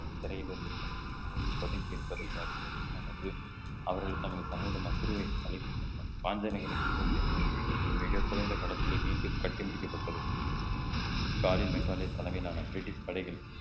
சிறையில் இருந்து குமுறி பதுங்கி இருப்பதை அறிந்த சின்ன மருது அவர்கள் தங்கள் கணவரிடம் நம் பிரிவை அழைத்து சென்றார் மிக குறைந்த கலத்தில மீண்டும் கட்டி முடிக்கப்பட்டது தலைமையிலான பிரிட்டிஷ் படைகள்